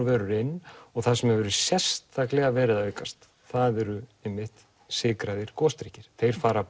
vörur inn og það sem hefur sérstaklega verið að aukast það eru einmitt sykraðir gosdrykkir þeir fara